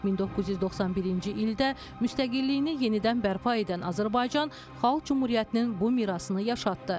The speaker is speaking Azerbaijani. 1991-ci ildə müstəqilliyini yenidən bərpa edən Azərbaycan Xalq Cümhuriyyətinin bu mirasını yaşatdı.